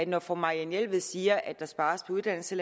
når fru marianne jelved siger at der spares på uddannelse